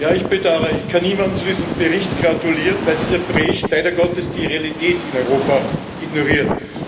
Ich bedauere, ich kann niemandem zu diesem Bericht gratulieren, weil dieser Bericht leider Gottes die Realität in Europa ignoriert.